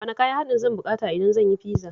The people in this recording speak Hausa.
Wane kayan haɗi zan buƙata idan zan yi fiza?